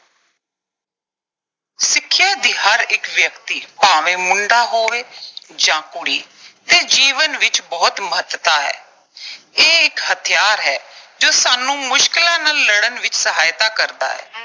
ਸਿੱਖਿਆ ਦੀ ਹਰ ਇੱਕ ਵਿਅਕਤੀ, ਭਾਵੇਂ ਮੁੰਡਾ ਹੋਵੇ ਜਾਂ ਕੁੜੀ, ਦੇ ਜੀਵਨ ਵਿੱਚ ਬਹੁਤ ਮਹੱਤਤਾ ਹੈ। ਇਹ ਇੱਕ ਹਥਿਆਰ ਹੈ, ਜੋ ਸਾਨੂੰ ਮੁਸ਼ਕਿਲਾਂ ਨਾਲ ਲੜਨ ਵਿੱਚ ਸਹਾਇਤਾ ਕਰਦਾ ਹੈ।